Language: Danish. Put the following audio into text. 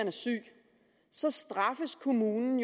er syg så straffes kommunen